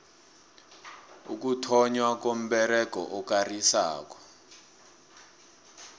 ukuthonnywa komberego okarisako